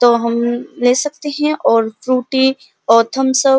तो हम ले सकते है और फ्रूटी और थम्स अप --